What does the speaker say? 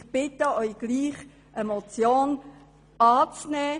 Ich bitte Sie gleichwohl, die Motion anzunehmen.